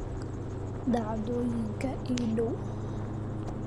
dhacdooyinka ii dhow